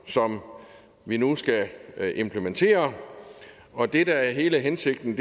som vi nu skal implementere og det der er hele hensigten